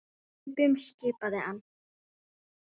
Hlaupum skipaði hann.